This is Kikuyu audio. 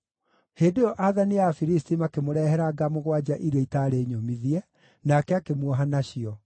Hĩndĩ ĩyo aathani a Afilisti makĩmũrehere nga mũgwanja iria itaarĩ nyũmithie, nake akĩmuoha nacio.